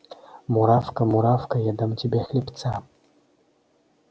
муравка муравка я дам тебе хлебца